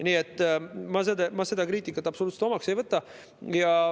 Nii et ma seda kriitikat absoluutselt omaks ei võta.